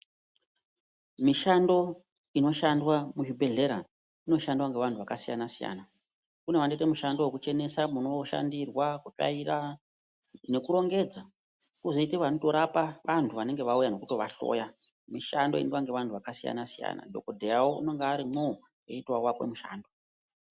Mishando inoshandwa muchibhedhlera inoshandwa nevanhu vakasiyana siyana. Kune vanoite mushando wekuchenesa munoshandirwa kutsvaira nekurongedza kwozoite vanorapa vanhu vanonga vauya nekutovahloya. Mishando inoitwa nevanhu vakasiyana siyana. Kwozoti dhokodheya unenge arimwowo.